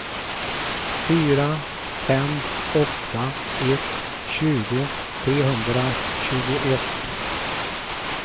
fyra fem åtta ett tjugo trehundratjugoett